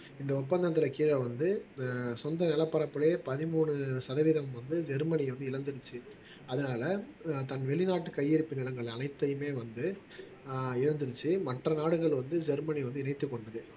இந்த ஒப்பந்தத்துல கீழ வந்து சொந்த நிலப்பரப்பிலேயே பதிமூணு சதவீதம் வந்து ஜெர்மனி வந்து இழந்துருச்சு அதனால தன் வெளிநாட்டு கையிருப்பு நிலங்கள் அனைத்தையுமே வந்து ஆஹ் இழந்திருச்சு மற்ற நாடுகள் வந்து ஜெர்மனி வந்து இணைத்துக் கொள்ளுது